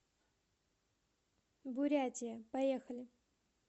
бурятия поехали